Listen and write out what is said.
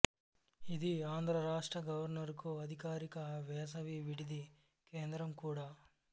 ఇది ఆంధ్ర రాష్ట్ర గవర్నరుకు అధికారిక వేసవి విడిది కేంద్రం కూడా